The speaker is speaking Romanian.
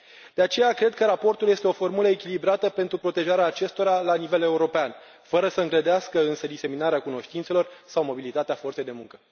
De aceea cred că raportul este o formulă echilibrată pentru protejarea acestora la nivel european, fără să îngrădească însă diseminarea cunoștințelor sau mobilitatea forței de muncă.